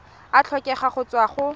a tlhokega go tswa go